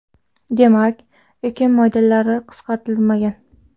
Demak, ekin maydonlari qisqartirilmagan.